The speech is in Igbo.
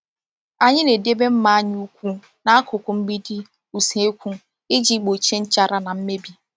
Anyị na-edobe mma anyị kwụ n’akụkụ mgbidi usekwu iji gbochie nchara na mmebi.